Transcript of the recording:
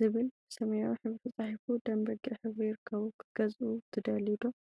ዝብል ብሰማያዊ ሕብሪ ተፃሒፉ ደም በጊዕ ሕብሪ ይርከቡ፡፡ ክትገዝኡ ትደልዩ ዶ?